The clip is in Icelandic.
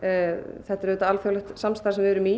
þetta er alþjóðlegt samstarf sem við erum í